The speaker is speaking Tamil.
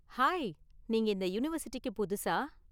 ஹாய், நீங்க இந்த யூனிவர்ஸிட்டிக்கு புதுசா?